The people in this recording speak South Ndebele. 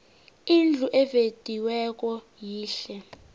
indlu evediweko yihle